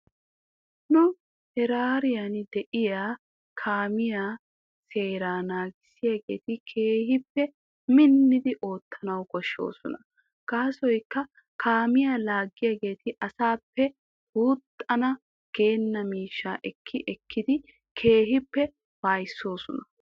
Nu heeraaran de'iyaa kaamiyaa seeraa naagissiyaageeti keehippe minnidi oottanaw koshshooson. Gaasoykka kaamiyaa laagiyaageeti asaappe guuxana geena miishaa ekki ekkidi keehippe waayisoosona.